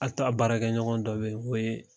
A to a baarakɛɲɔgɔn dɔ bɛ yen k'o ye